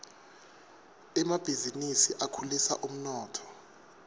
emabhizinisi akhulisa umnotfo